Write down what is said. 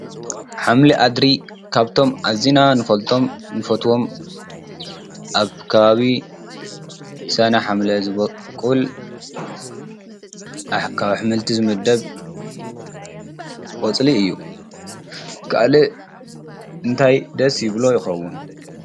ሓምሊ አድሪ ካብቶም አዚና ንፈልጦም ንፈትዎም አብ ከባቢ ሰነ ሓምለ ዝቦቅል አብ አሕምልቲ ዝምደብ ቆፀሊ እዩ። ካሊእ እንታይ ደስ ይብሎ ይከውን?